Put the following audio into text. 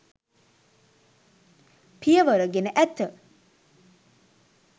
පියවර ගෙන ඇත